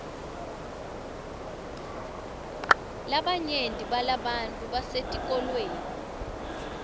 labanyenti balabantfu basetikolweni